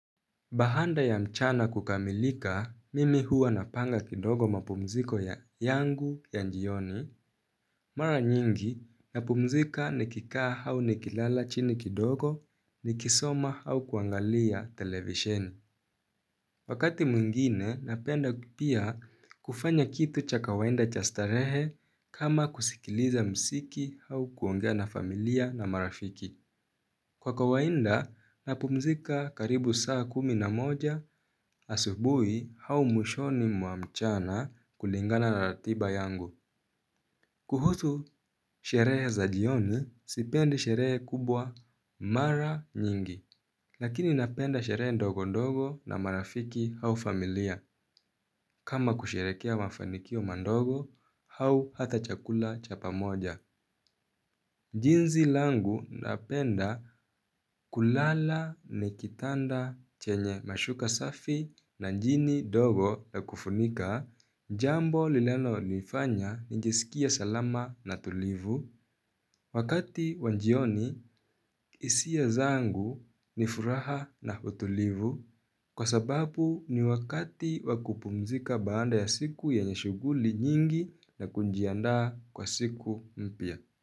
Baada ya mchana kukamilika, mimi huwa napanga kidogo mapumziko ya yangu ya jioni. Mara nyingi, napumzika nikikaa au nikilala chini kidogo, nikisoma au kuangalia televisheni. Wakati mwngine, napenda pia kufanya kitu cha kawaida cha starehe kama kusikiliza muziki au kuongea na familia na marafiki. Kwa kawaida, napumzika karibu saa kumi na moja asubuhi, au mwishoni mwa mchana kulingana na ratiba yangu. Kuhusu sherehe za jioni, sipendi sherehe kubwa mara nyingi. Lakini napenda sherehe ndogo ndogo na marafiki au familia, kama kusherehekea mafanikio madogo au hata chakula cha pamoja. Jinsi langu napenda kulala ni kitanda chenye mashuka safi na njini dogo na kufunika. Jambo lilano nifanya njisikie salama na tulivu. Wakati wa jioni hisia zangu ni furaha na utulivu kwa sababu ni wakati wa kupumzika baada ya siku yenye shughuli nyingi, na kujiandaa kwa siku mpya.